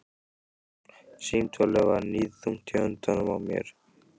Símtólið var níðþungt í höndunum á mér.